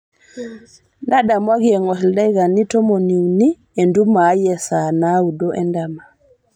ntadamuaki engor ildakikani tomoni uni entumo aai e saa naudo endama